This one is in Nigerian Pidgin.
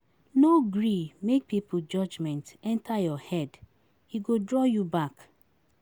Pipo go still tok even if you do good, make you do do wetin you like.